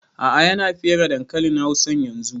A'a ya na fere dankalin hausan yanzun